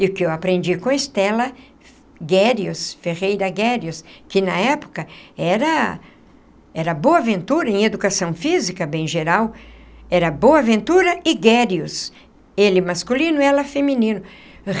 E o que eu aprendi com a Stella, Guérius, Ferreira Guérius, que na época era era Boaventura em Educação Física, bem geral, era Boaventura e Guérius, ele masculino, ela feminino.